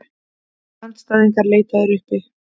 Andstæðingar leitaðir uppi